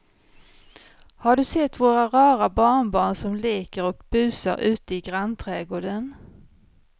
Har du sett våra rara barnbarn som leker och busar ute i grannträdgården!